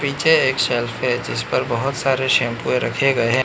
पीछे एक सेल्फ है जिस पर बहोत सारे शैंपू रखे गए हैं।